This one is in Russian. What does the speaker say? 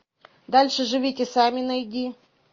дальше живите сами найди